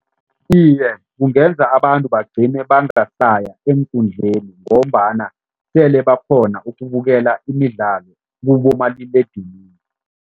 Iye, kungenza abantu bagcine bangasaya eenkundleni ngombana sele bakghona ukubukela imidlalo kubomaliledinini.